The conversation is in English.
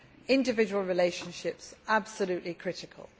yes. Individual relationships absolutely critical.